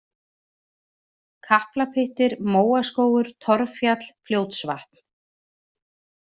Kaplapyttir, Móaskógur, Torffjall, Fljótsvatn